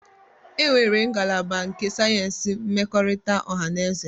Enwere ngalaba nke sayensị mmekọrịta ọha na eze.